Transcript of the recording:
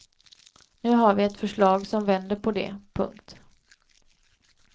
Nu har vi ett förslag som vänder på det. punkt